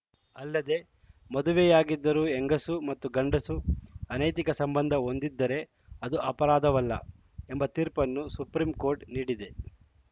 ಅಲ್ಲದೇ ಮದುವೆಯಾಗಿದ್ದರೂ ಹೆಂಗಸು ಮತ್ತು ಗಂಡಸು ಅನೈತಿಕ ಸಂಬಂಧ ಹೊಂದಿದ್ದರೆ ಅದು ಅಪರಾಧವಲ್ಲ ಎಂಬ ತೀರ್ಪನ್ನು ಸುಪ್ರೀಂ ಕೋರ್ಟ್‌ ನೀಡಿದೆ